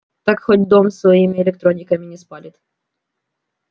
так хоть дом своими электрониками не спалит